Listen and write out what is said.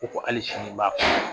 Ko ko hali sini n b'a fɔ